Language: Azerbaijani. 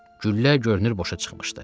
Güllə görünür boşa çıxmışdı.